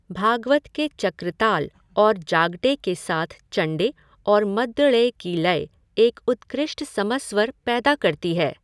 भागवत के चक्रताल और जागटे के साथ चण्डे और मद्दळे की लय एक उत्कृष्ट समस्वर पैदा करती है।